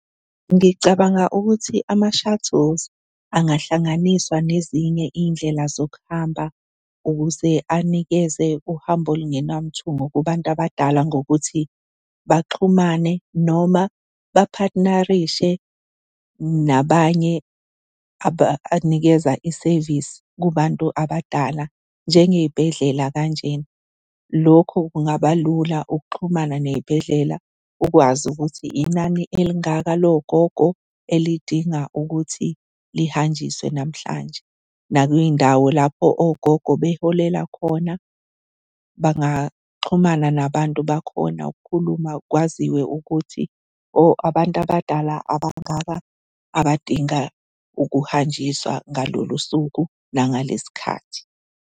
Ngicabanga ukuthi ama-shuttles angahlanganiswa nezinye iy'ndlela zokuhamba ukuze anikeze uhambo olungenamthungo kubantu abadala ngokuthi baxhumane noma baphathinarishe nabanye abanikeza isevisi kubantu abadala njengey'bhedlela kanjena. Lokho kungaba lula ukuxhumana ney'bhedlela, ukwazi ukuthi inani elingaka logogo elidinga ukuthi lihanjiswe namhlanje, nakuy'ndawo lapho ogogo beholela khona bangaxhumana nabantu bakhona ukukhuluma kwaziwe ukuthi oh, abantu abadala abangaba abadinga ukuhanjiswa ngalolu suku nangalesikhathi.